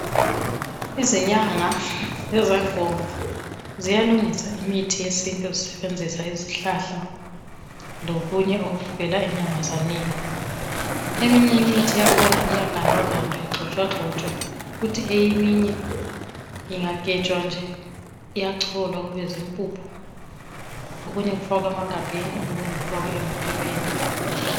Izinyanga lezangoma ziyalungisa imithi yesintu zisebenzisa izihlahla lokunye okuvela enyamazaneni eminye imithi iyagandwagandwa igxotshwagxotshwe kuthi eminye ingagejwa nje iyacholwa kube zimpuphu okunye kufakwe emagabheni okunye kufakwe emaphepheni